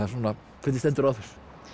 hvernig stendur á þessu